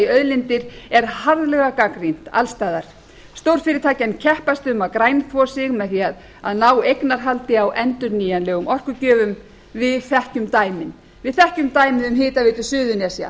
auðlindir er harðlega gagnrýnt alls staðar stórfyrirtækin keppast um að grænþvo sig með því að ná eignarhaldi á endurnýjanlegum orkugjöfum við þekkjum dæmin við þekkjum dæmið um hitaveitu suðurnesja